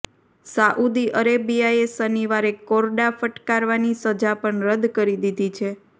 Saudi અરેબિયાએ શનિવારે કોરડા ફટકારવાની સજા પણ રદ કરી દીધી છે